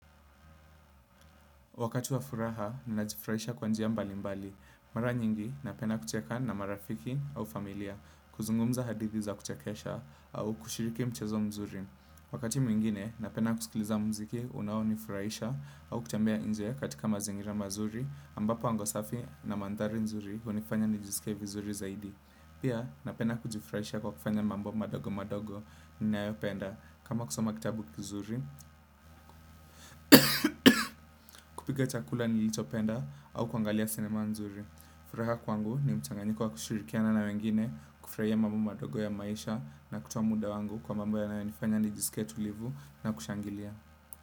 Wakati wa furaha, ninajifurahisha kwa njia mbali mbali. Mara nyingi, napenda kucheka na marafiki au familia, kuzungumza hadithi za kuchekesha, au kushiriki mchezo mzuri. Wakati mwingine, napenda kusikiliza mziki, unao nifurahisha, au kutembea nje katika mazingira mazuri, ambapo anga safi na mandhari nzuri, unifanya nijisike vizuri zaidi. Pia, napenda kujifurahisha kwa kufanya mambo madogo madogo, ninayopenda. Kama kusoma kitabu kizuri, kupika chakula nilichopenda au kuangalia sinema nzuri. Furaha kwangu ni mchanganyiko wa kushirikiana na wengine. Kufurahia mambo madogo ya maisha na kutoa muda wangu kwa mambo yanayonifanya ni jisike tulivu na kushangilia.